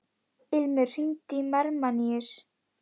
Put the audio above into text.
Ilmur, hringdu í Hermanníus.